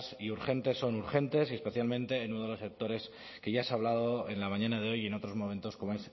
y urgentes son urgentes y especialmente en uno de los sectores que ya se ha hablado en la mañana de hoy y en otros momentos como